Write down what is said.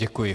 Děkuji.